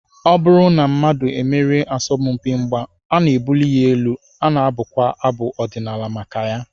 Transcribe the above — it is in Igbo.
Ọ bụrụ na mmadụ emerie n'asọmpi mgba, a na-ebuli ya elu, a na-abụkwa abụ ọdịnala maka ya.